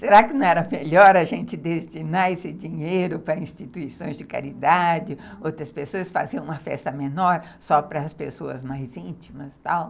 Será que não era melhor a gente destinar esse dinheiro para instituições de caridade, outras pessoas, fazer uma festa menor só para as pessoas mais íntimas e tal?